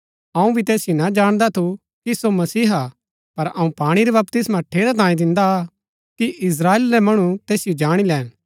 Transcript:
अऊँ भी तैसिओ ना जाणदा थू कि सो मसीहा हा पर अऊँ पाणी रा बपतिस्मा ठेरै तांयें दिन्दा आ कि इस्त्राएल रै मणु तैसिओ जाणी लैन